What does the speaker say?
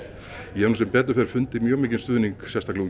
ég hef nú sem betur fer fundið mjög mikinn stuðning sérstaklega